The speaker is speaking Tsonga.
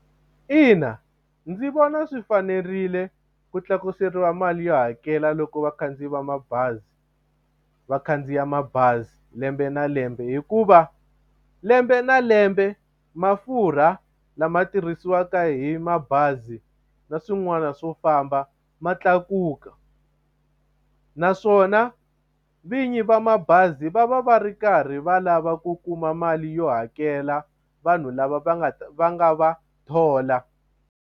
Ina ndzi vona swi fanerile ku tlakuseriwa mali yo hakela loko vakhandziyi va mabazi va khandziya mabazi lembe na lembe hikuva lembe na lembe mafurha lama tirhisiwaka hi mabazi na swin'wana swo famba ma tlakuka naswona vinyi va mabazi va va va ri karhi va lava ku kuma mali yo hakela vanhu lava va nga va nga va thola.